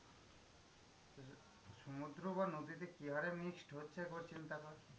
সমুদ্র বা নদীতে কি হারে mixed হচ্ছে একবার চিন্তা কর?